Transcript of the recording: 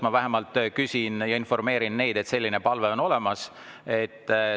Ma vähemalt informeerin neid, et selline palve on olemas.